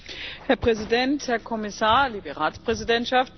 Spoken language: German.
Herr Präsident, Herr Kommissar, liebe Ratspräsidentschaft!